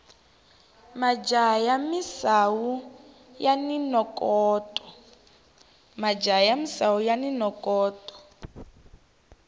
majaha ya misawu yani nokoto